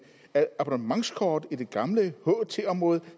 at abonnementskort i det gamle ht område